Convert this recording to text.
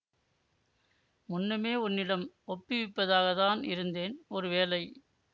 முன்னமே உன்னிடம் ஒப்புவிப்பதாகத்தான் இருந்தேன் ஒரு வேளை